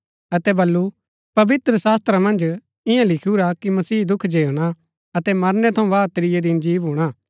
अतै बल्लू पवित्र शास्‍त्रा मन्ज ईयां लिखुरा कि मसीह दुख झेलना अतै मरनै थऊँ बाद त्रिऐ दिन जी भूणा